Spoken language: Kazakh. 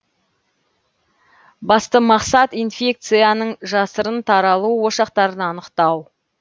басты мақсат инфекцияның жасырын таралу ошақтарын анықтау